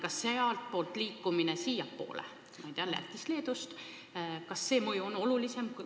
Kas sealtpoolt liikumine siiapoole – ma ei tea, Lätist, Leedust – on suurem?